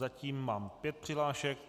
Zatím mám pět přihlášek.